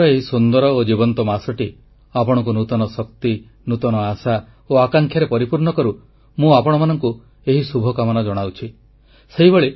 ଶ୍ରାବଣର ଏହି ସୁନ୍ଦର ଓ ଜୀବନ୍ତ ମାସଟି ଆପଣଙ୍କୁ ନୂତନ ଶକ୍ତି ନୂତନ ଆଶା ଓ ଆକାଂକ୍ଷାରେ ପରିପୂର୍ଣ୍ଣ କରୁ ମୁଁ ଆପଣମାନଙ୍କୁ ଏହି ଶୁଭକାମନା ଜଣାଉଛି